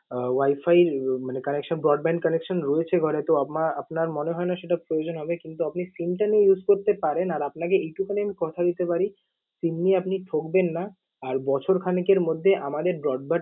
আহ wifi মানে connection broadband connection রয়েছে ঘরে। তো আমা~ আপনার মনে হয়না সেটার প্রয়োজন হবে কিন্তু আপনি SIM টা নিয়ে use করতে পারেন। আর আপনাকে এইটুকুনি আমি কথা দিতে পারি SIM নিয়ে আপনি ঠকবেন না। আর বছর খানেকের মধ্যে আমাদের broadband আহ